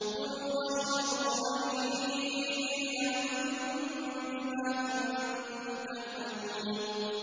كُلُوا وَاشْرَبُوا هَنِيئًا بِمَا كُنتُمْ تَعْمَلُونَ